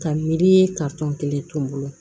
Ka miiri kelen to n bolo